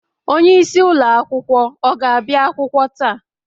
onyeisi ụlọ akwụkwọ ọ ga-abịa akwụkwọ taa?